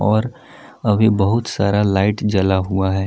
और अभी बहुत सारा लाइट जला हुआ है।